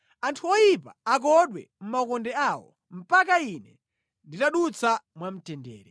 Anthu oyipa akodwe mʼmaukonde awo, mpaka ine nditadutsa mwamtendere.